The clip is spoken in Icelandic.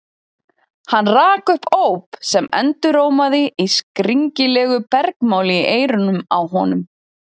Hann rak upp óp sem endurómaði í skringilegu bergmáli í eyrunum á honum.